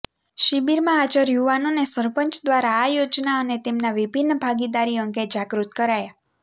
શિબિરમાં હાજર યુવાનોને સરપંચ દ્વારા આ યોજના અને તેના વિભિન્ન ભાગીદારી અંગે જાગૃત કરાયા